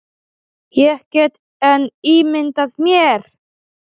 Ég get enn ímyndað mér!